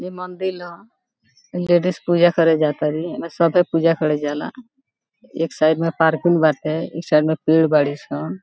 ए मंदील ह ई लेडीज़ पूजा करे जातरी एमे सभे पूजा करे जाला एक साइड में पार्किंग बाटे उ साइड में पेड़ बाड़ी सन।